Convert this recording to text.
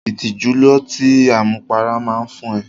Ìtìjú lọtí àmupara máa fún ẹ.